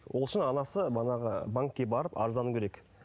ол үшін анасы манағы банкке барып арыздану керек